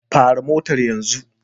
Fara motar yanzu!